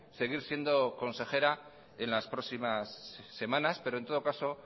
seguir siendo consejera en las próximas semanas pero en todo caso